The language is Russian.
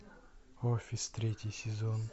офис третий сезон